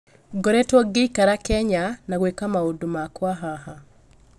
Ngoretwo ngĩikara Kenya, na gwĩka maũndũ makwa haha